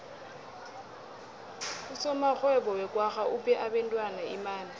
usomarhwebo wekwagga uphe abentwana imali